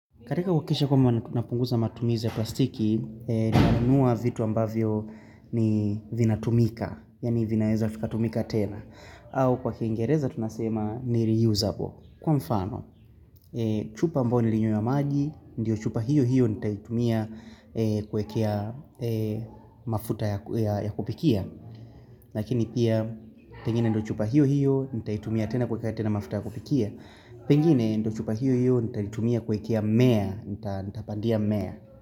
Katika kuhakikisha kwamba tunapunguza matumizi za plastiki, nanunua vitu ambavyo ni vina tumika, yaani vinaeza vikatumika tena, au kwa kiingereza tunasema ni reusable. Kwa mfano, chupa ambayo nilinywea maji, ndiyo chupa hiyo hiyo nitaitumia kuekea mafuta ya kupikia, lakini pia, pengine ndio chupa hiyo hiyo nitaitumia tena kuekea tena mafuta ya kupikia, Pengine ndio chupa hiyo hiyo nitaitumia kwekea mea Nita pandia mea.